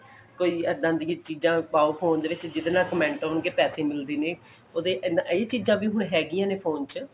ਕੋਈ ਏਦਾਂ ਦੀ ਵੀ ਚੀਜਾਂ ਪਾਓ phone ਦੇ ਵਿੱਚ ਜਿਹੜੇ ਨਾਲ comment ਹੋਣਗੇ ਪੈਸੇ ਮਿਲਦੇ ਨੇ ਉਹਦੇ ਇਹੀ ਚੀਜਾਂ ਵੀ ਹੈਗਿਆ ਨੇ ਹੁਣ phone ਚ